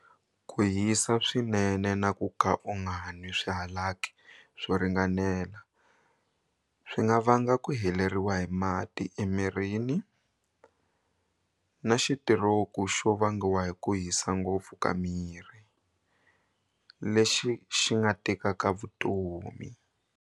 Ku hisa swinene na ku ka u nga nwi swihalaki swo ringanela swi nga vanga ku heleriwa hi mati emirini na xitiroku xo vangiwa hi ku hisa ngopfu ka miri, lexi xi nga tekaka vutomi.